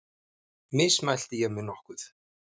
Mismælti ég mig nokkuð?